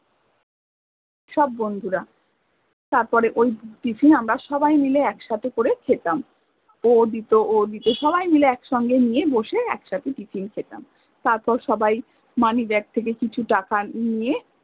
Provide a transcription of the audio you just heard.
সব বন্ধুরা, তারপরে ওই tiffin আমরা সবাই মিলে একসাথে করে খেতাম ও দিত ও দিত সবাই মিলে এক সঙ্গে নিয়ে বসে এক সাথে tiffin খেতাম তারপরে সবাই moneybag থেকে কিছু টাকা নিয়ে